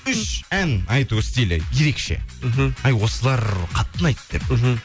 үш ән айту стилі ерекше мхм әй осылар қатты ұнайды деп мхм